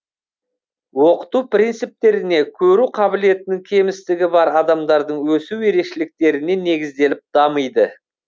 оқыту принциптеріне көру қабілетінің кемістігі бар адамдардың өсу ерекшеліктеріне негізделіп дамиды